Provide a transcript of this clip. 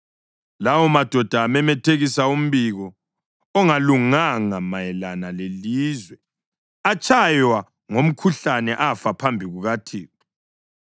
lawomadoda amemethekisa umbiko ongalunganga mayelana lelizwe atshaywa ngomkhuhlane afa phambi kukaThixo.